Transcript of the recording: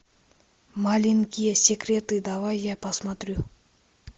маленькие секреты давай я посмотрю